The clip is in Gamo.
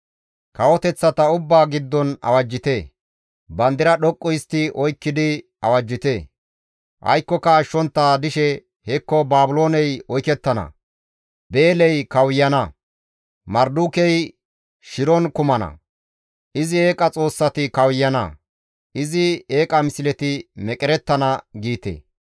«Kawoteththata ubbaa giddon awajjite! Bandira dhoqqu histti oykkidi awajjite! Aykkoka ashshontta dishe, ‹Hekko Baabilooney oykettana; Beeley kawuyana; Mardukey shiron kumana; izi eeqa xoossati kawuyana; izi eeqa misleti meqerettana› giite.